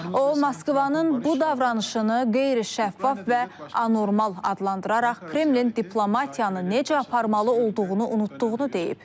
O Moskvanın bu davranışını qeyri-şəffaf və anormal adlandıraraq Kremlin diplomatiyanı necə aparmalı olduğunu unutduğunu deyib.